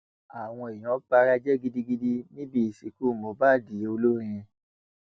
àwọn èèyàn bara jẹ gidigidi níbi ìsìnkú mohbad olórin